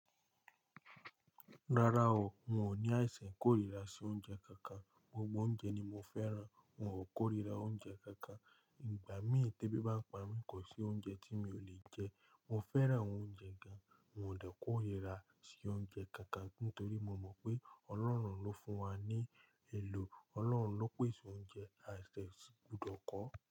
Rárá o, n ò ní àìsàn ikórìíra sí oúnjẹ kankan. Gbogbo oúnjẹ ni mo fẹ́ràn. N ò kórìíra oúnjẹ kankan. Ìgbà mí té bí bá n pa mí kò sí oúnjẹ tí mi ò lè jẹ. Mo fẹran ounjẹ gan mi o dẹ korira si ounjẹ kankan nitori mo wo pe ọlọrun lo fun wa ni elo Ọlọ́run ló pèsè oúnjẹ. Àìsàn ti kùdọ̀ ko.